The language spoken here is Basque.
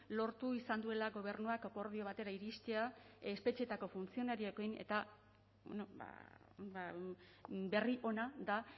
lortu izan duela gobernuak akordio batera iristea espetxeetako funtzionarioekin eta berri ona da